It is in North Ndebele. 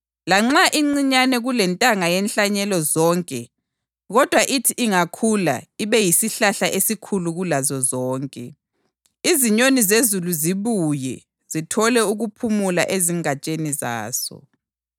Lanxa incinyane kulentanga yenhlanyelo zonke, kodwa ithi ingakhula ibe yisihlahla esikhulu kulazo zonke, izinyoni zezulu zibuye, zithole ukuphumula ezingatsheni zaso.”